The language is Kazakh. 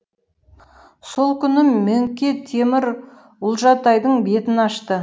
сол күні мөңке темір ұлжатайдың бетін ашты